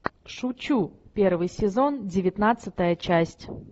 шучу первый сезон девятнадцатая часть